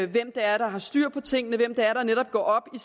hvem det er der har styr på tingene hvem det er der netop går op i